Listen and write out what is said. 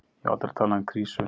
Ég hef aldrei talað um krísu.